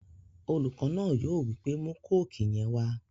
Olùkọ náà yóò wípé 'mú kóòkì yẹn wá!'